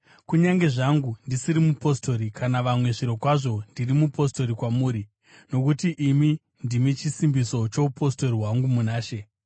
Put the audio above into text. Kunyange zvangu ndisiri mupostori kuna vamwe, zvirokwazvo ndiri mupostori kwamuri! Nokuti imi ndimi chisimbiso choupostori hwangu muna She.